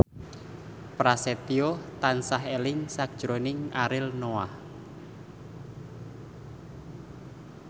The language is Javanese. Prasetyo tansah eling sakjroning Ariel Noah